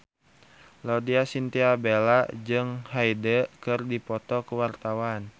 Laudya Chintya Bella jeung Hyde keur dipoto ku wartawan